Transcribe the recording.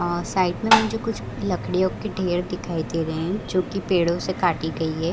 अ side में मुझे कुछ लकड़ियों की ढ़ेर दिखाई दे रहे हैं जो की पेड़ो से काटी गयी है ।